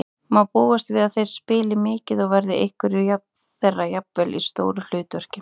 Má búast við að þeir spili mikið og verða einhverjir þeirra jafnvel í stóru hlutverki?